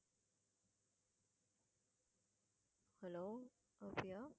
hello Afiya